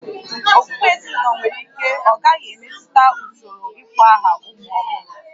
Okpukpe ezinụlọ nwere ike ọ gaghị emetụta usoro ịkpọ aha ụmụ ọhụrụ